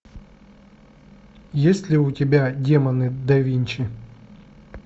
есть ли у тебя демоны да винчи